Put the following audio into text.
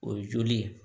O ye joli ye